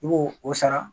I b'o o sara